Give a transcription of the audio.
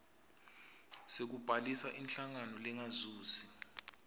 sekubhalisa inhlangano lengazuzi